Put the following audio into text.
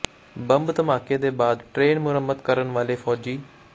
bomb ਧਮਾਕੇ ਦੇ ਬਾਅਦ ਟ੍ਰੇਨ ਮੁਰੰਮਤ ਕਰਨ ਵਾਲੇ ਫੌਜੀ